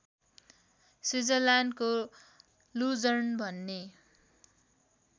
स्विजरल्याण्डको Lucerne भन्ने